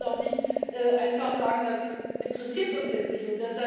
Wir können doch nicht einfach sagen Das interessiert uns jetzt nicht.